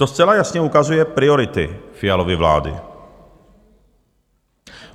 To zcela jasně ukazuje priority Fialovy vlády.